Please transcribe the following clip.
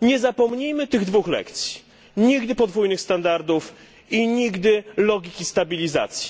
Nie zapomnijmy tych dwóch lekcji nigdy więcej podwójnych standardów i logiki stabilizacji.